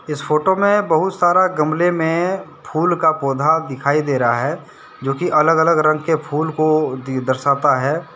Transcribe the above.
इस फोटो में बहुत सारा गमले में फूल का पौधा दिखाई दे रहा है जोकि अलग अलग रंग के फूल को दर्शाता है।